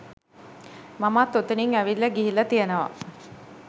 මමත් ඔතනින් ඇවිල්ලා ගිහිල්ල තියෙනවා